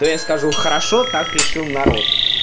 то я скажу хорошо так решил народ